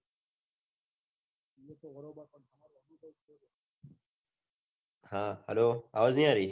હા hello અવાજ ની આરી